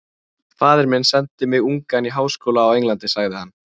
Faðir minn sendi mig ungan í háskóla á Englandi sagði hann.